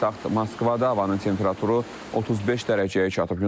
Paytaxt Moskvada havanın temperaturu 35 dərəcəyə çatıb.